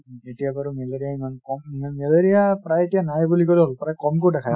এতিয়া বাৰু মেলেৰিয়া ইমান ক'ম মেলেৰিয়া প্ৰায় এতিয়া নাই বুলি